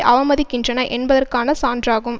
அவமதிக்கின்றன என்பதற்கான சான்றாகும்